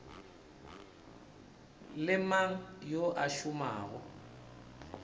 le mang yo a šomago